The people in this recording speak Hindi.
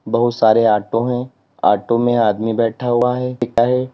बहुत सारे ऑटो हैं ऑटो में आदमी बैठा हुआ है है।